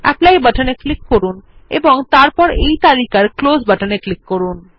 apply বাটনে click করুন এবং তারপর এই তালিকার ক্লোজ বাটনে ক্লিক করুন